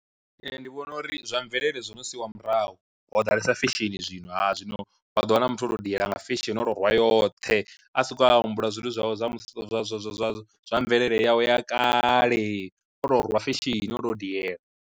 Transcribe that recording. Ndi vhona uri zwa mvelele zwino siiwa murahu ho ḓalesa fesheni zwino ha zwino wa ḓo wana muthu o tou diela nga fesheni oto rwa yoṱhe a sokou a humbula zwithu zwawe zwa zwa zwa zwa zwa zwa mvelele yawe ya kale, oto rwiwa fesheni o to diela.